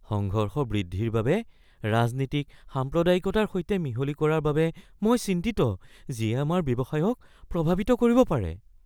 সংঘৰ্ষ বৃদ্ধিৰ বাবে ৰাজনীতিক সাম্প্ৰদায়িকতাৰ সৈতে মিহলি কৰাৰ বাবে মই চিন্তিত যিয়ে আমাৰ ব্যৱসায়ক প্ৰভাৱিত কৰিব পাৰে।